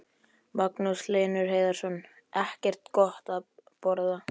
Magnús Hlynur Hreiðarsson: Ekkert gott að borða?